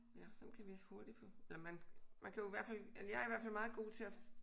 Ja sådan kan vi hurtigt få eller man man kan jo i hvert fald eller jeg er i hvert fald meget god til at